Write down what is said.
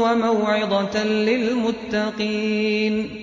وَمَوْعِظَةً لِّلْمُتَّقِينَ